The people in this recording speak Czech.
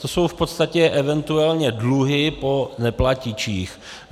To jsou v podstatě eventuálně dluhy po neplatičích.